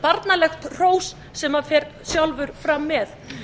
barnalegt hrós sem hann fer sjálfur fram með